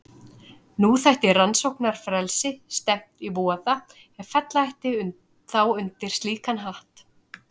Nú þætti rannsóknarfrelsi stefnt í voða ef fella ætti þá undir slíkan hatt.